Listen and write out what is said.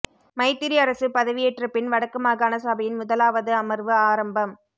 மைத்திரி அரசு பதவியேற்ற பின் வடக்கு மாகாண சபையின் முதலாவது அமர்வு ஆரம்பம்